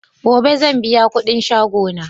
Gobe sanbiya kudin shagon naj